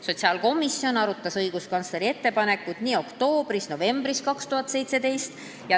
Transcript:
Sotsiaalkomisjon arutas õiguskantsleri ettepanekut oktoobris ja novembris 2017.